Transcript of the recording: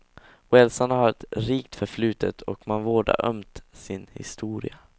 Walesarna har ett rikt förflutet och man vårdar ömt sin historia.